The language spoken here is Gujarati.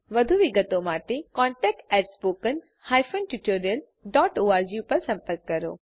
વધુ વિગત માટે કૃપા કરી contact at spoken hyphen tutorial dot org પર સંપર્ક કરો